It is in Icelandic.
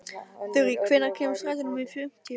Þurý, hvenær kemur strætó númer fimmtíu?